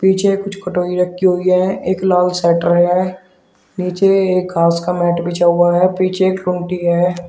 पीछे कुछ कटोरी रखी हुई है। एक लाल शटर है। नीचे एक घास का मैट बिछा हुआ है। पीछे एक है।